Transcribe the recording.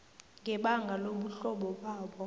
ngebanga lobuhlobo babo